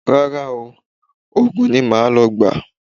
Rara o, oògùn ni màá lọ gba.